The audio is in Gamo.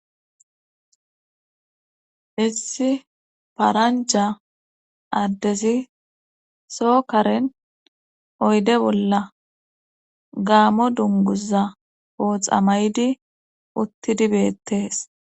Issi paranja addezi sookaren oyde bolla gaamo dunguza ooxamaydi uttidibettees.